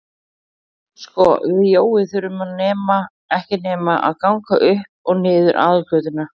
Sko við Jói þurfum ekki nema að ganga upp og niður aðalgötuna sagði